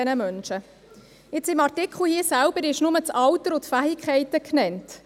Im Artikel selbst sind nur das Alter und die Fähigkeiten genannt.